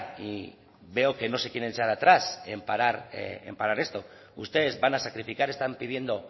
y veo que no se quieren echar atrás en parar esto ustedes van a sacrificar están pidiendo